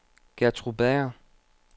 Gertrud Bager